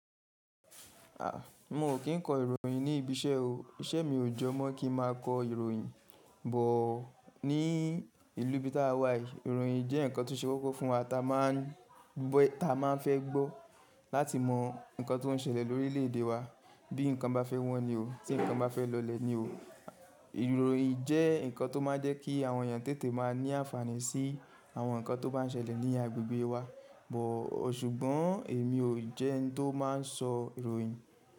A, mo ò kí n kọ ìròyìn ní ibi iṣẹ́ o. Iṣẹ́ mi ò jọ mọ kí n má a kọ ìròyìn. Bọ̀ọ́ ní ìlú bí tá wà yìí, ìròyìn jẹ́ nǹkan tó ṣe kókó fún wa. Ta máa ń bọ́, ta máa ń fẹ́ gbọ́ láti mọ nǹkan tó ń ṣẹlẹ̀ lórí orílẹ̀ èdè wa. Bí nǹkan bá fẹ́ wọ́n ni o. Tí nǹkan bá fẹ́ lọlẹ̀ ni o. Ìròyìn jẹ́ nǹkan tó máa ń jẹ́ kí àwọn èèyàn tètè máa ní àǹfààní sí àwọn nǹkan tó bá ń ṣẹlẹ̀ ní agbègbè wa. Bọ̀ọ́ ṣùgbọ́n èmi ò jẹ́ ẹni tó máa ń sọ ìròyìn.